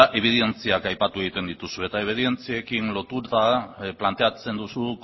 ebidentziak aipatu egiten dituzue eta ebidentziekin lotuta planteatzen duzu